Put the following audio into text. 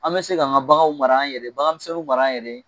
An bɛ se ka an ka baganw mara yɛrɛ bagan misɛnninw mara an yɛrɛ ye